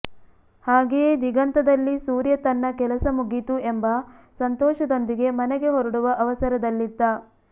ಹಾಗೆಯೆ ದಿಗಂತ ದಲ್ಲಿ ಸೂರ್ಯ ತನ್ನ ಕೆಲಸ ಮುಗೀತು ಎಂಬ ಸಂತೋಷ ದೊಂದಿಗೆ ಮನೆಗೆ ಹೊರಡುವ ಅವಸರದಲ್ಲಿದ್ದ